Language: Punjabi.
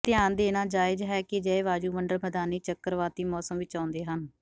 ਇਹ ਧਿਆਨ ਦੇਣਾ ਜਾਇਜ਼ ਹੈ ਕਿ ਅਜਿਹੇ ਵਾਯੂਮੰਡਲ ਮੈਦਾਨੀ ਚੱਕਰਵਾਤੀ ਮੌਸਮ ਵਿੱਚ ਆਉਂਦੇ ਹਨ